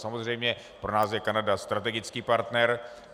Samozřejmě pro nás je Kanada strategický partner.